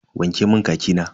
Wanke mun khaki na.